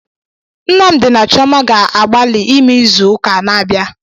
Nnamdi na Chioma ga-agbali ime izu ụka na-abịa.